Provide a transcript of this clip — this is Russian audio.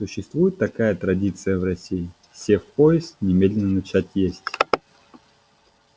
существует такая традиция в россии сев в поезд немедленно начать есть